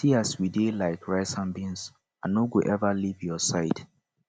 see as we dey like rice and bean i no go ever leave your side